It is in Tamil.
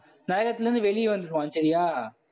நகரத்துல இருந்து வெளிய வந்துருவான் சரியா?